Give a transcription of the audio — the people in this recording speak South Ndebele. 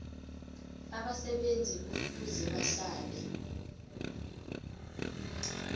abasebenzi kufuze bahlale